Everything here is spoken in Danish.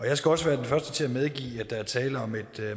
jeg skal også være den første til at medgive at der er tale om et